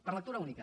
per lectura única